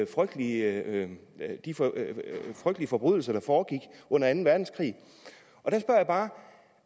frygtelige forbrydelser der foregik under anden verdenskrig